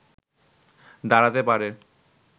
দাঁড়াতে পারে